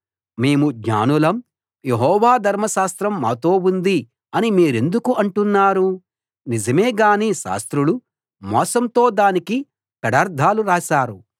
మేము జ్ఞానులం యెహోవా ధర్మశాస్త్రం మాతో ఉంది అని మీరెందుకు అంటున్నారు నిజమే గానీ శాస్త్రులు మోసంతో దానికి పెడర్థాలు రాశారు